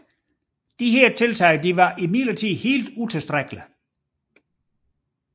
Disse tiltag var imidlertid helt utilstrækkelige